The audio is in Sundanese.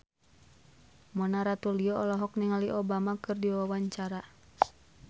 Mona Ratuliu olohok ningali Obama keur diwawancara